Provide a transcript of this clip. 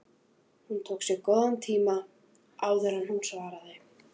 Hún tók sér góðan tíma áður en hún svaraði.